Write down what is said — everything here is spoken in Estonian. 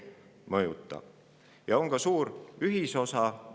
Leevendamis- ja kohanemistegevustes on ka suur ühisosa.